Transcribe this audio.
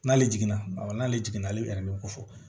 N'ale jiginna awɔ n'ale jiginna ale ko fɔ